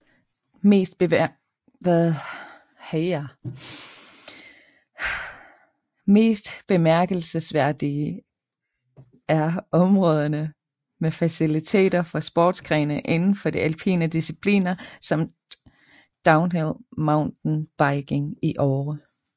Mest bemærkelsesværdige er områderne med faciliteter for sportsgrene indenfor de alpine discipliner samt downhill mountain biking i Åre